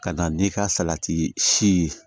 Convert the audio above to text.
Ka da n'i ka salati si ye